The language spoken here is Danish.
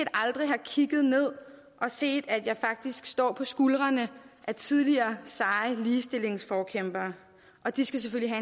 aldrig har kigget ned og set at jeg faktisk står på skuldrene af tidligere seje ligestillingsforkæmpere og de skal selvfølgelig